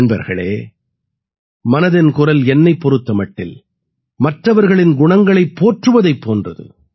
நண்பர்களே மனதின் குரல் என்னைப் பொறுத்த மட்டில் மற்றவர்களின் குணங்களைப் போற்றுவதைப் போன்றது